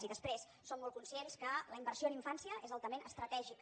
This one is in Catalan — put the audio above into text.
i després som molt conscients que la inversió en infància és altament estratègica